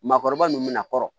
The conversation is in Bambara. Maakɔrɔba nunnu mɛ na kɔrɔ